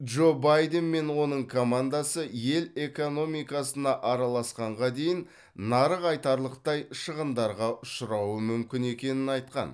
джо байден мен оның командасы ел экономикасына араласқанға дейін нарық айтарлықтай шығындарға ұшырауы мүмкін екенін айтқан